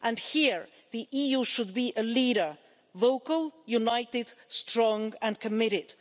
Here the EU should be a leader vocal, united, strong and committed.